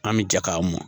An bɛ jɛ k'a mɔn